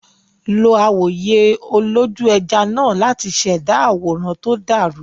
Lo awòye olójú-ẹja náà láti ṣẹ̀dá àwòrán tó dàrú.